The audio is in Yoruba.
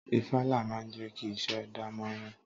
Ifala máa ń jẹkí isẹ dánmorán.